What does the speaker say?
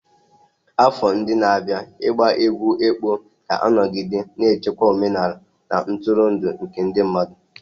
Afọ ndị na-abịa ịgba egwú ekpo ga-anọgide na-echekwa omenala na ntụrụndụ nke ndị mmadụ.